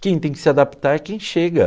Quem tem que se adaptar é quem chega.